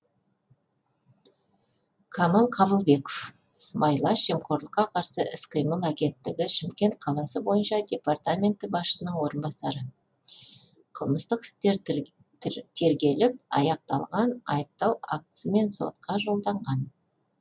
камал қабылбеков сыбайлас жемқорлыққа қарсы іс қимыл агенттігі шымкент қаласы бойынша департаменті басшысының орынбасары қылмыстық істер тергеліп аяқталған айыптау актісімен сотқа жолданған